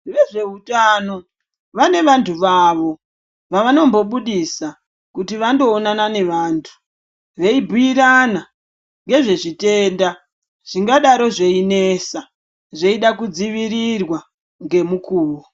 Vezveutano vane vantu vavo vavanombobudisa kuti vandoonana nevantu veibhiirana nezvezvitenda zvingadaro zveinesa zveida kudzivirirwa ngemukuwo.